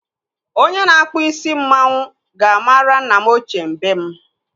Onye na-akpụ isi mmanwu ga-mara nna m ochie mbem.